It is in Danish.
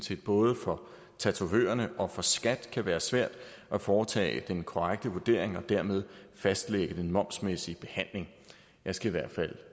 set både for tatovørerne og for skat kan være svært at foretage den korrekte vurdering og dermed fastlægge den momsmæssige behandling jeg skal i hvert fald